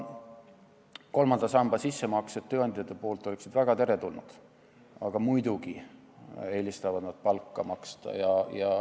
Kolmanda samba sissemaksed tööandjate poolt oleksid väga teretulnud, aga muidugi eelistavad nad palka maksta.